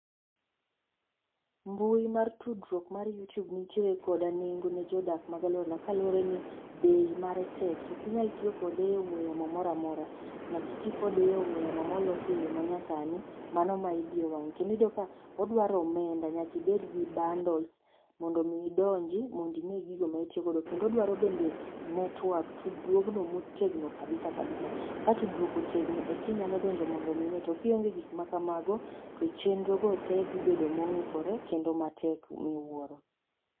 Mbui mar tudruok mar Yutube nitiere koda nengo ne jodak mag aluora kaluwore ni bei mare tek. To ok inyal tiyo kode e ong'ue yamo moro amora, nyaka iti kode e ong'ue yamo molosi eyo manyasani, mano ma idiyo wang'e. Kendo iyudo ka odwaro omenda, nyaka ibed gi bundles mondo mi idonji ine gigo ma itiyo godo. Kendo odwaro bende network tudruogno motegno kabisa kabisa. Kato duoko tegno eka inyalo donjo mondo ine, to kionge mago to chenrogo te dhi bedo mong'ikore kendo matek miwuoro.